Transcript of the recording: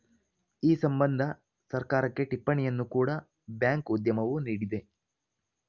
ಈ ಸಂಬಂಧ ಸರ್ಕಾರಕ್ಕೆ ಟಿಪ್ಪಣಿಯನ್ನು ಕೂಡ ಬ್ಯಾಂಕ್‌ ಉದ್ಯಮವು ನೀಡಿದೆ